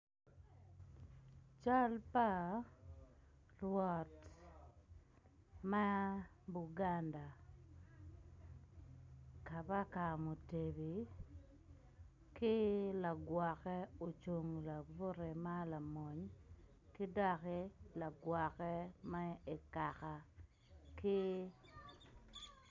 Cal pa rwot ma buganda kabaka mutebi ki lagwokke ocung labute ma lamony ki doki ma i kaka ki.